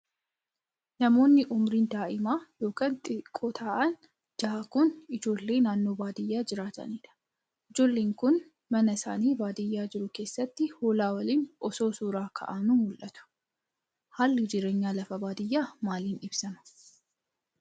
Namoonni umuriin daa'ima yokin xiqqoo ta'an ja'an kun, ijoollee naannoo baadiyaa jiraatanii dha. Ijoolleen kun, mana isaanii baadiyaa jru keessatti hoolaa waliin osoo suura ka'anuu mul'atu. Haalli jireenya lafa baadiyaa maalin ibsama?